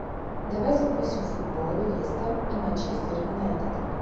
давай запустим футбол лестер и манчестер юнайтед